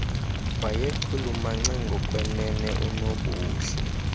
wayechulumance ngokwenene unobuhle